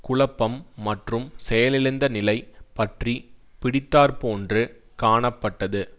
குழப்பம் மற்றும் செயலிழந்த நிலை பற்றி பிடித்தாற்போன்று காணப்பட்டது